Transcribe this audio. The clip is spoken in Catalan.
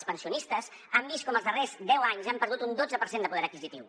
els pensionistes han vist com els darrers deu anys han perdut un dotze per cent de poder adquisitiu